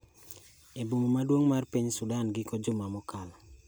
e boma maduong' mar piny Sudan giko juma mokalo